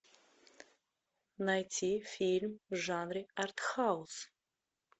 найти фильм в жанре артхаус